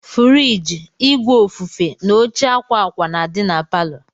Furige, ìgwè ofufe na óche akwa akwa na-adi n'paló.